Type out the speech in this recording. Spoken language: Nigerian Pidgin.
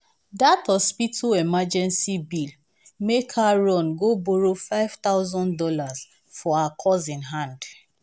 dat hospital emergency bill make her run um go borrow five thouusand dollars for her cousin hand.